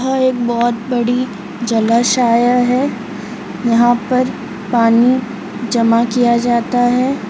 यहाँ एक बहुत बडी जलाशाया है यहाँ पर पानी जमा किया जाता है।